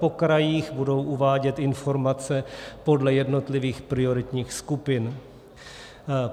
Po krajích budou uvádět informace podle jednotlivých prioritních skupin.